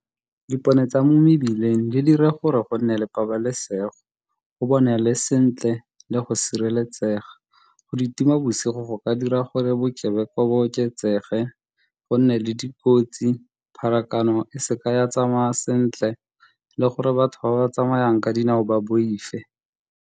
Dipone tsa mo mebileng di dira gore go nne le pabalesego, go bonagale sentle le go sireletsega. Go di tima bosigo go ka dira gore bokebekwa bo oketsege, go nne le dikotsi, pharakano e seka ya tsamaya sentle le gore batho ba ba tsamayang ka dinao ba boife.